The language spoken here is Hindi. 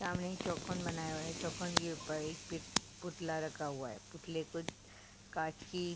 सामने एक चौकोन बनाया हुआ है। चौकोन के ऊपर एक पित पुतला रखा हुआ है। पुतले कुत कांच की --